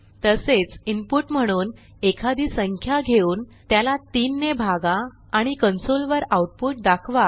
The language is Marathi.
तसेच इनपुट म्हणून एखादी संख्या घेऊन त्याला 3 ने भागा आणि कन्सोल वर आऊटपुट दाखवा